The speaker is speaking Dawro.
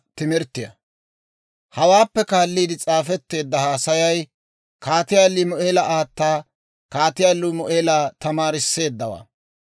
Hawaappe kaalliide s'aafetteedda haasayay, Kaatiyaa Limu'eela aata Kaatiyaa Limu'eela tamaarisseeddawaa.